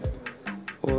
og